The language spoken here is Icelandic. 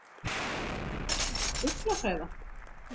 Þú ert eins og fuglahræða!